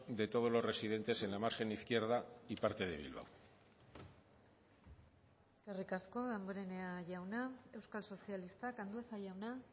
de todos los residentes en la margen izquierda y parte de bilbao eskerrik asko damborenea jauna euskal sozialistak andueza jauna